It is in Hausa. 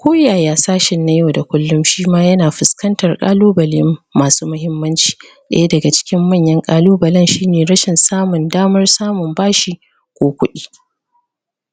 ko yaya sashen na yau da kullum shima yana fusƙantar kalubale masu muhimmanci daya daga cikin manyan ƙalubalen shi ne rashin samun damar samun bashi ko kuɗi